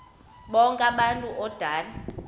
bonk abantu odale